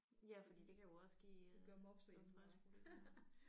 Ja fordi det kan jo også give øh helbredsproblemer